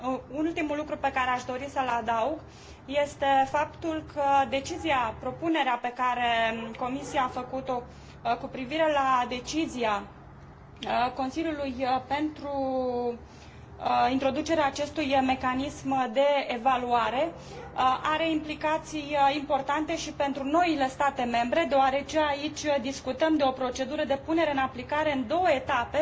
Un ultim lucru pe care aș dori să l adaug este faptul că propunerea pe care Comisia a făcut o cu privire la propunerea de decizie a Consiliului pentru introducerea acestui mecanism de evaluare are implicații importante și pentru noile state membre, deoarece aici discutăm de o procedură de punere în aplicare în două etape